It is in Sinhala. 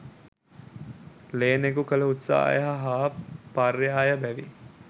ලේනෙකු කළ උත්සාහය හා පර්යාය බැවින්